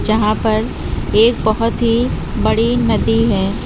जहां पर एक बहोत ही बड़ी नदी है।